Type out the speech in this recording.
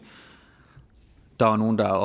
der var nogle der